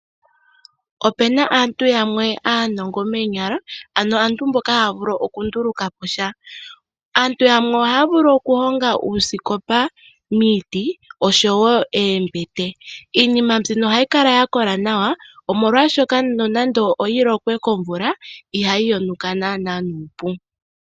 Opena aantu yamwe aanongo moonyala nohaya vulu okundulukapo sha. Aantu yamwe ohaya vulu okuhonga uusikopa oshowo oombete miiti. Iinima mbika ohayi kala ya kola nawa nande oya lokwa komvula ihayi yonuka nuupu.